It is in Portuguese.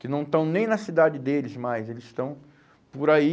Que não estão nem na cidade deles mais, eles estão por aí...